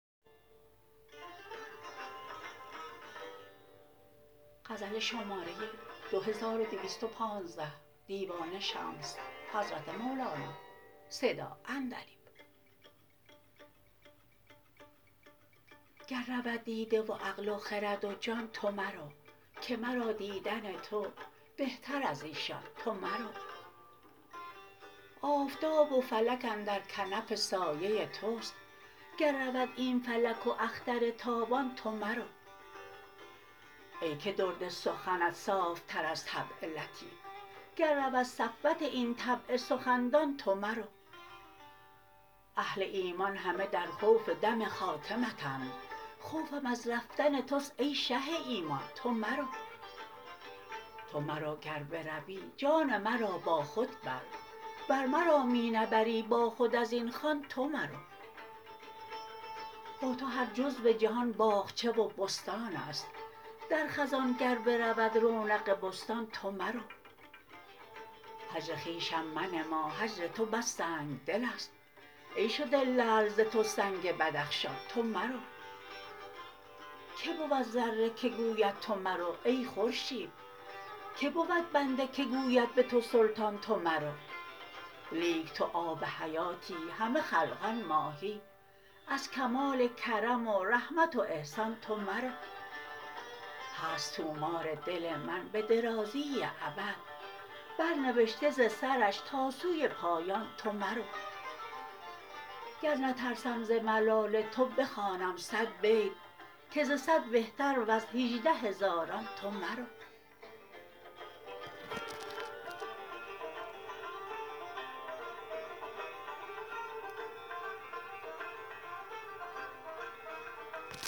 گر رود دیده و عقل و خرد و جان تو مرو که مرا دیدن تو بهتر از ایشان تو مرو آفتاب و فلک اندر کنف سایه توست گر رود این فلک و اختر تابان تو مرو ای که درد سخنت صاف تر از طبع لطیف گر رود صفوت این طبع سخندان تو مرو اهل ایمان همه در خوف دم خاتمتند خوفم از رفتن توست ای شه ایمان تو مرو تو مرو گر بروی جان مرا با خود بر ور مرا می نبری با خود از این خوان تو مرو با تو هر جزو جهان باغچه و بستان ست در خزان گر برود رونق بستان تو مرو هجر خویشم منما هجر تو بس سنگ دل ست ای شده لعل ز تو سنگ بدخشان تو مرو کی بود ذره که گوید تو مرو ای خورشید کی بود بنده که گوید به تو سلطان تو مرو لیک تو آب حیاتی همه خلقان ماهی از کمال کرم و رحمت و احسان تو مرو هست طومار دل من به درازی ابد برنوشته ز سرش تا سوی پایان تو مرو گر نترسم ز ملال تو بخوانم صد بیت که ز صد بهتر و ز هجده هزاران تو مرو